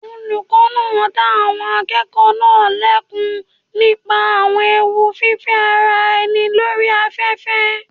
Olùkọ́ náà dá àwọn akẹ́kọ̀ọ́ náà lẹ́kun nípa àwọn ewu fífẹ́ ara ẹni lórí afẹ́fẹ́.